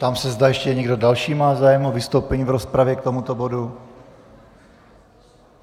Ptám se, zda ještě někdo další má zájem o vystoupení v rozpravě k tomuto bodu.